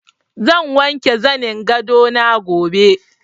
Zan wanke zanin gado na gobe.